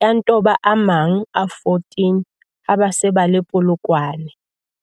ya nto ba a mang a 14 ha ba se ba le Polokwane.